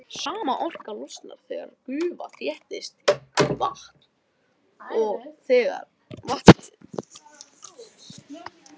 Sama orka losnar þegar gufa þéttist í vatn og aftur þegar vatnið kristallast í ís.